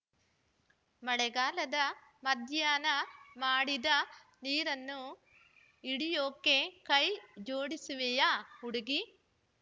ಮಳೆಗಾಲದ ಮಧ್ಯಾಹ್ನ ಮಾಡಿದ ನೀರನ್ನು ಹಿಡಿಯೋಕೆ ಕೈ ಜೋಡಿಸುವೆಯಾ ಹುಡುಗೀ